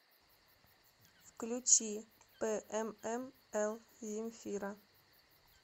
включи п м м л земфира